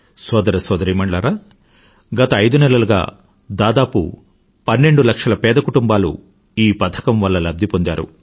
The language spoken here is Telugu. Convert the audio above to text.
సోదరసోదరీ మణులారా గత ఐదునెలలుగా దాదాపు పన్నెండు లక్షల పేద కుటుంబాలు ఈ పథకం వల్ల లభ్ధి పొందారు